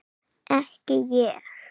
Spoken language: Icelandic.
Ekki ég.